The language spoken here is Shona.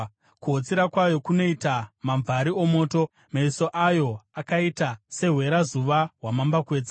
Kuhotsira kwayo kunoita mamvari omoto; meso ayo akaita sehwerazuva hwamambakwedza.